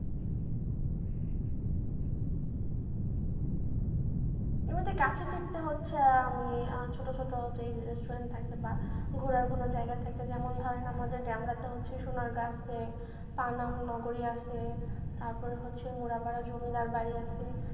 কাছে ফিরতে হচ্ছে আমি ছোট ছোট যে restaurant থাকে বা ঘোরার কোনো জায়গা থাকে যেমন ধরেন আমাদের ডেমরাতে হচ্ছে সোনার গা আছে পানাম নাগরী আছে তারপরে হচ্ছে মুড়াপাড়া জমিদার বাড়ি আছে।